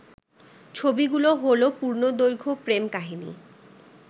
ছবিগুলো হলো পূর্ণদৈর্ঘ্য প্রেম কাহিনী